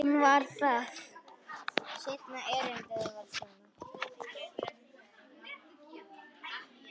Hún var það.